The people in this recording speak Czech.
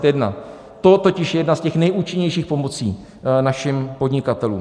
To totiž je jedna z těch nejúčinnějších pomocí našim podnikatelům.